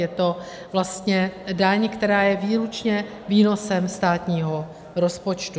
Je to vlastně daň, která je výlučně výnosem státního rozpočtu.